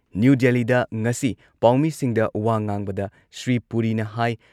new ꯗꯦꯜꯂꯤꯗ ꯉꯁꯤ ꯄꯥꯎꯃꯤꯁꯤꯡꯗ ꯋꯥ ꯉꯥꯡꯕꯗ ꯁ꯭ꯔꯤ ꯄꯨꯔꯤꯅ ꯍꯥꯏ